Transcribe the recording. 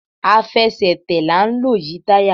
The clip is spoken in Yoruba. Àfẹsẹ̀tẹ̀ la n lò yi tayá